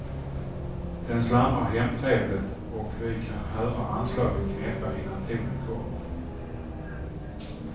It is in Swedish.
Den slamrar hemtrevligt och vi kan höra anslaget knäppa innan tonen kommer.